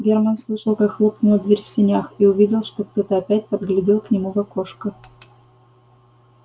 германн слышал как хлопнула дверь в сенях и увидел что кто-то опять поглядел к нему в окошко